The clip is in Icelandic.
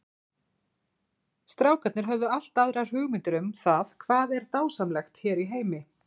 Strákarnir höfðu allt aðrar hugmyndir um það hvað er dásamlegt hér í heimi.